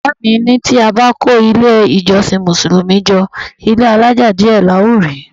Bàbá mi ní tí a bá kó ilé-ìjọsìn Mùsùlùmí jọ, ilé-alaja díẹ̀ la ó rí.